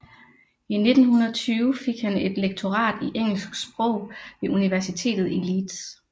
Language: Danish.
I 1920 fik han et lektorat i engelsk sprog ved Universitetet i Leeds